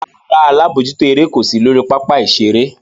Rárá, alabojuto ere ko si lori papa-iṣere.